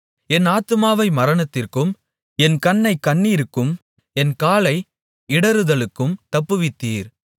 என் ஆத்துமாவை மரணத்திற்கும் என் கண்ணைக் கண்ணீருக்கும் என் காலை இடறுதலுக்கும் தப்புவித்தீர்